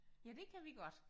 Ja det kan vi godt